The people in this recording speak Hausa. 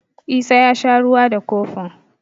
Isa ya sha ruwa da kofin.